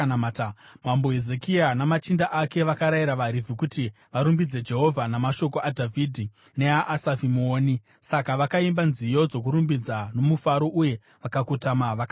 Mambo Hezekia namachinda ake vakarayira vaRevhi kuti varumbidze Jehovha namashoko aDhavhidhi neaAsafi muoni. Saka vakaimba nziyo dzokurumbidza nomufaro uye vakakotama vakanamata.